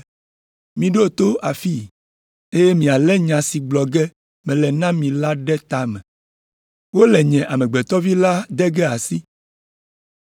“Miɖo to afii, eye mialé nya si gblɔ ge mele na mi la ɖe ta me. Wole nye Amegbetɔ Vi la de ge asi.”